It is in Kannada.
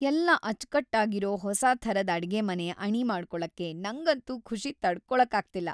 ಎಲ್ಲ ಅಚ್ಕಟ್ಟಾಗಿರೋ ಹೊಸಾ ಥರದ್ ಅಡ್ಗೆಮನೆ‌ ಅಣಿ ಮಾಡ್ಕೊಳಕ್ಕೆ ನಂಗಂತೂ ಖುಷಿ ತಡ್ಕೊಳಕ್ಕಾಗ್ತಿಲ್ಲ.